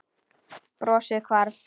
Brosið hvarf.